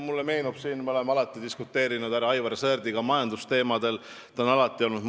Mulle meenub, et me oleme siin palju härra Aivar Sõerdiga majandusteemadel diskuteerinud.